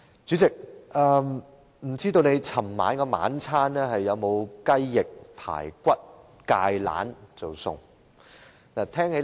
主席，不知道你昨天的晚餐有否吃到雞翼、排骨和芥蘭呢？